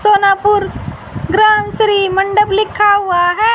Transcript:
सोनापुर ग्राम श्री मंडप लिखा हुआ है।